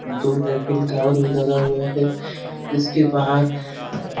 दो Eiffel tower भी लगा हुआ है। इसके बाहर --